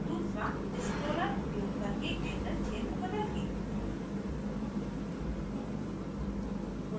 2 दूसरा scroller उपयोग करके angle क्षेत्र बदलके